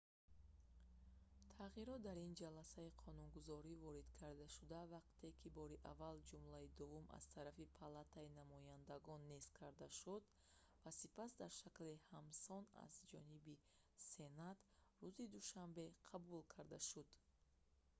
тағйирот дар ин ҷаласаи қонунгузорӣ ворид карда шуд вақте ки бори аввал ҷумлаи дуввум аз тарафи палатаи намояндагон нест карда шуд ва сипас дар шакли ҳамсон аз ҷониби сенат рӯзи душанбе қабул карда шуд